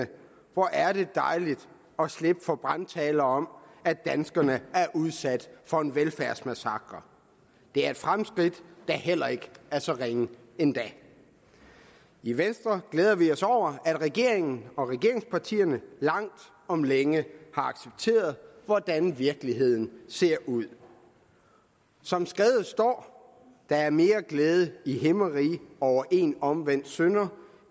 hvor er det dejligt at slippe for brandtaler om at danskerne er udsat for en velfærdsmassakre det er et fremskridt der heller ikke er så ringe endda i venstre glæder vi os over at regeringen og regeringspartierne langt om længe har accepteret hvordan virkeligheden ser ud som skrevet står der er mere glæde i himmeriget over en omvendt synder